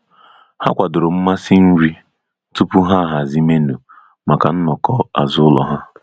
Ha kwadoro mmasị nri tupu ha ahazi menu maka nnọkọ azụlo ha.